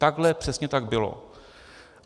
Takhle přesně to bylo.